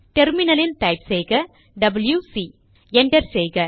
டெர்மினலில் டைப் செய்க WC enter செய்க